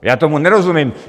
Já tomu nerozumím.